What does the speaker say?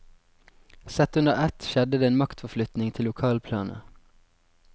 Sett under ett skjedde det en maktforflytning til lokalplanet.